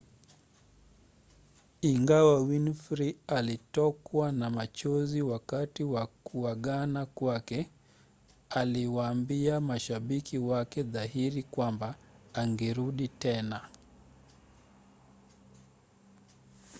ingawa winfrey alitokwa na machozi wakati wa kuagana kwake aliwaambia mashabiki wake dhahiri kwamba angerudi tena